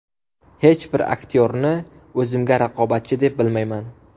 Hech bir aktyorni o‘zimga raqobatchi deb bilmayman.